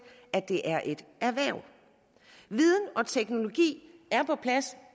at det er et erhverv viden og teknologi er på plads